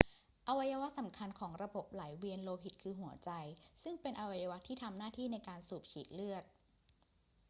อวัยวะสำคัญของระบบไหลเวียนโลหิตคือหัวใจ ซึ่งเป็นอวัยวะที่ทำหน้าที่ในการสูบฉีดเลือด